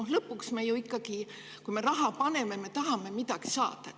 Sest lõpuks on ju ikkagi nii, et kui me raha kuhugi paneme, siis me tahame sealt midagi saada.